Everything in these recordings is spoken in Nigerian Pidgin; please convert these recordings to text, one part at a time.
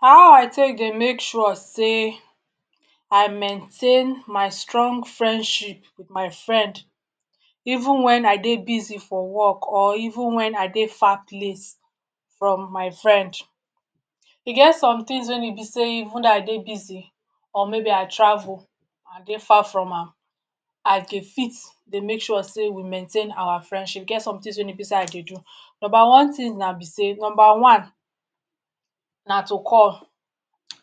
How I take dey make sure sey I maintain my strong friendship with my friend even when I dey busy for work or even when I dey far place from my friend? E get some things wey e be sey even though I dey busy or maybe I travel or I dey far from am I dey fit dey make sure sey we maintain awa friendship. E get some things wey e be sey I dey do. Number one thing na be sey number one na to call.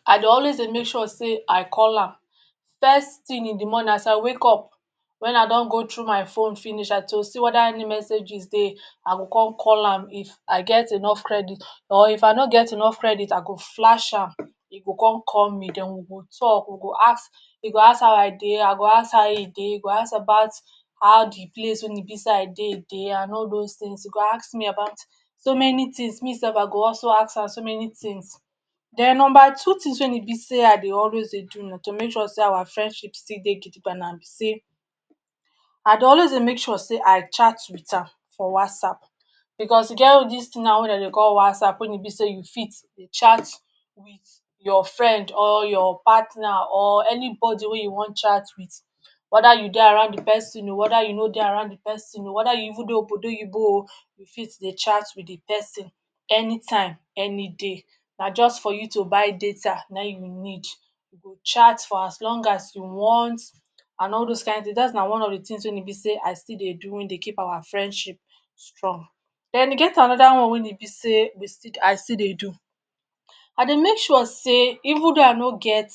I dey always dey make sure sey I call am. First thing in the morning as I wake up when I don go through my phone finish and to see whether any messages dey, I go come call am if I get enough credit or if I no get enough credit, I go flash am, e go come call me, then we go talk, we go ask e go ask how I dey, I go ask how e dey, e go ask about how the place wey e be sey I dey dey and all those things. E go ask me about so many things. Me sef I go also ask am so many things. Then number two things wey e be sey I dey always dey do na to make sure sey awa friendship still dey gidigba na be sey, I dey always dey make sure sey I chat with am for WhatsApp. Because e get dis thing now wey dem dey call WhatsApp wey e be sey you fit dey chat with your friend or your partner or anybody wey you wan chat with. Whether you dey around the pesin o, whether you no dey around the pesin o, whether you even dey Obodo Oyibo o, you fit dey chat with the pesin anytime any day. Na just for you to buy data naim you need. You go chat for as long as you want and all those kind things. That na one of the things wey e be sey I still dey do wey dey keep awa friendship strong. Then e get another one wey e be sey we still I still dey do. I dey make sure sey even though I no get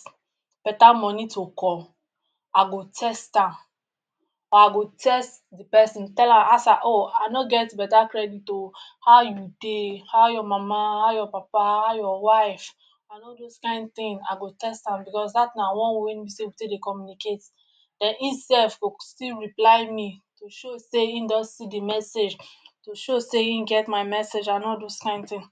better money to call, I go text am or I go text the pesin, tell am ask am ‘Oh, I no get better credit o, how you dey? How your mama, how your papa, how your wife?’ and all those kind thing. I go text am because that na one way wey e be sey we take dey communicate. Then im sef go still reply me to show sey im don see the message, to show sey im get my message and all those kind thing.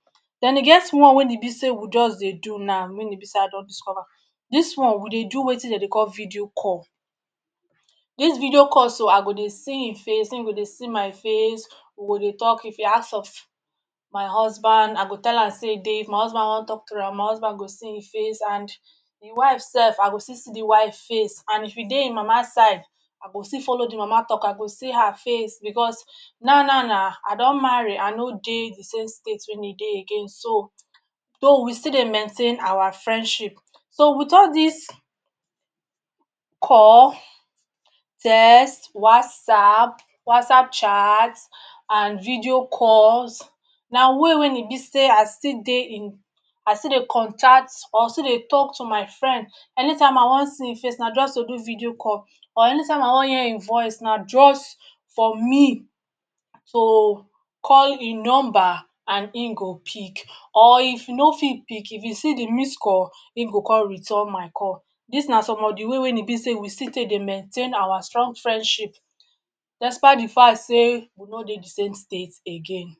Then e get one wey e be sey we just dey do now wey e be sey I don discover. Dis one we dey do wetin de dey call ‘video call’. Dis video call so, I go dey see im face, im go dey see my face, we go dey talk. If e ask of my husband, I go tell am sey e dey, if my husband wan talk to am, my husband go see im face. And e wife sef, I go still see the wife face and if e dey im mama side, I go still follow the mama talk, I go see her face. Because na-na-na, I don marry, I no dey the same state wey im dey again, so though we still dey maintain awa friendship. So, with all dis call, text, WhatsApp, WhatsApp chat and video calls na way wey e be sey I still dey in I still dey contact or still dey talk to my friend. Anytime I wan see im face, na just to do video call. Or anytime I wan hear im voice, na just for me to call im number and im go pick. Or if im no fit pick, if im see the missed call, im go come return my call. Dis na some of the way wey e be sey we still take dey maintain awa strong friendship despite the fact sey we no dey the same state again.